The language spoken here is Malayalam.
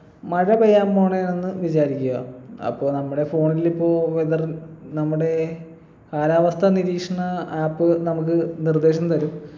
മഴപെയ്യാൻ പോണേ ആണെന്ന് വിചാരിക്കുക അപ്പൊ നമ്മുടെ phone ൽ ഇപ്പൊ weather നമ്മുടെ കാലാവസ്ഥ നിരീക്ഷണ app നമുക്ക് നിർദേശം തരും